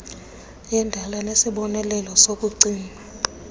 yendala nesibonelelo sokucima